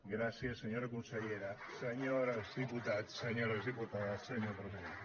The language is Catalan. gràcies senyora consellera senyors diputats senyores diputades senyora presidenta